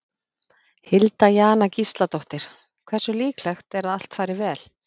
Hilda Jana Gísladóttir: Hversu líklegt er að allt fari vel?